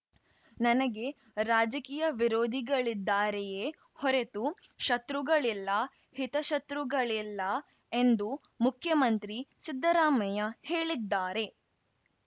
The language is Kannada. ನನಗೆ ರಾಜಕೀಯ ವಿರೋಧಿಗಳಿದ್ದಾರೆಯೇ ಹೊರತು ಶತ್ರುಗಳಿಲ್ಲ ಹಿತಶತ್ರುಗಳಿಲ್ಲ ಎಂದು ಮುಖ್ಯಮಂತ್ರಿ ಸಿದ್ದರಾಮಯ್ಯ ಹೇಳಿದ್ದಾರೆ